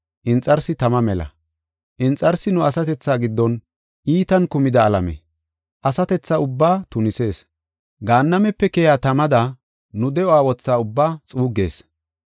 Inxarsi tama mela. Inxarsi nu asatethaa giddon iitan kumida alame; asatethaa ubbaa tunisees. Gaannamepe keyiya tamada nu de7uwa wotha ubbaa xuuggees.